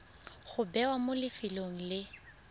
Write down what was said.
go bewa mo lefelong le